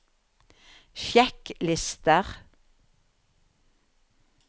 sjekklister